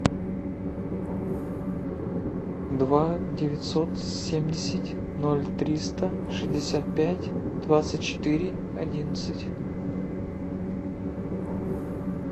два девятьсот семьдесят ноль триста шестьдесят пять двадцать четыре одиннадцать